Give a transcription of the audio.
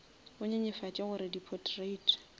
e nyenyefatše gore di potrait